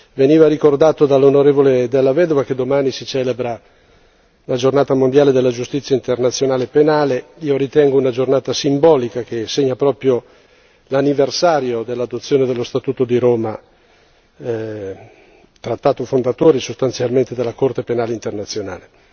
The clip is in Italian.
Veniva ricordato dall'onorevole Della Vedova che domani si celebra la Giornata mondiale della giustizia internazionale penale. Io ritengo che sia una giornata simbolica che segna proprio l'anniversario dell'adozione dello Statuto di Roma, il trattato fondatore sostanzialmente della Corte penale internazionale.